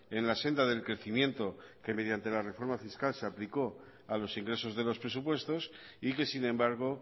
en la senda del crecimiento que mediante la reforma fiscal se aplicó a los ingresos de los presupuestos y que sin embargo